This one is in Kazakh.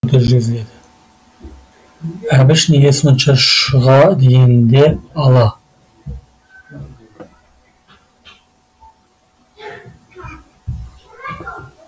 әбіш неге сонша шұға дегенде ала